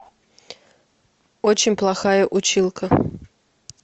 очень плохая училка